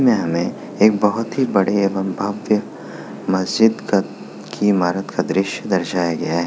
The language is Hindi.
इसमें हमें एक बहोत ही बड़े एवं भव्य मस्जिद का की इमारत का दृश्य दर्शाया गया है।